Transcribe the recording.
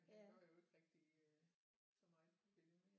Han gør jo ikke rigtig så meget ved det mere